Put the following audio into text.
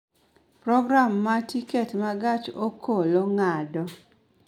program ma tiket ma gach okoloma ng�ado